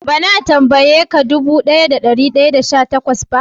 Ba na tambaye ka dubu daya da dari daya da sha takwas ba?